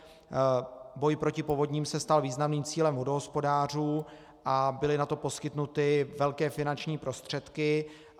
Boj proti povodním se stal významným cílem vodohospodářů a byly na to poskytnuty velké finanční prostředky.